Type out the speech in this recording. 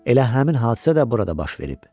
Elə həmin hadisə də burada baş verib.